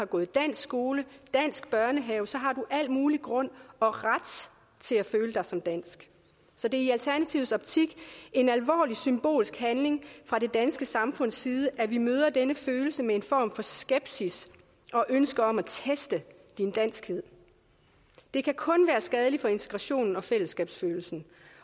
gået i dansk skole og dansk børnehave så har du al mulig grund og ret til at føle dig som dansk så det er i alternativets optik en alvorlig symbolsk handling fra det danske samfunds side at vi møder denne følelse med en form for skepsis og ønske om at teste danskheden det kan kun være skadeligt for integrationen og fællesskabsfølelsen